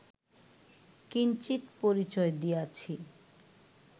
কিঞ্চিৎ পরিচয় দিয়াছি